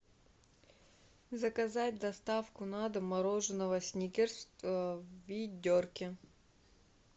заказать доставку на дом мороженого сникерс в ведерке